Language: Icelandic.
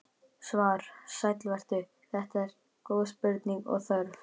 Svar: Sæll vertu, þetta eru góð spurning og þörf.